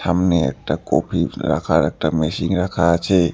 সামনে একটা কোফি রাখার একটা মেশিং রাখা আছে।